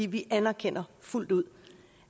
vi anerkender fuldt ud